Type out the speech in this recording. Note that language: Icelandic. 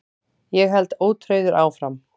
Ég held ótrauður áfram.